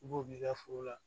I b'o k'i ka foro la